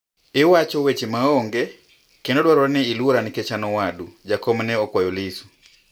"iwacho weche ma onge endo dwarore ni ilwora nikech an owadu," Jakom ne okwayo Lissu